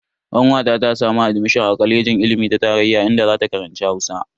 Kanwata ta samu admishon a kwalejin ilimi ta tarayya inda zata karanci Hausa.